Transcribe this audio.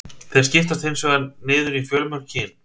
Þeir skiptast hins vegar einnig niður fjölmörg kyn.